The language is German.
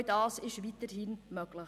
Auch das ist weiterhin möglich.